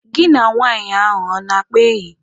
Gị na nwaanyị ahụ ọ na-akpa enyi?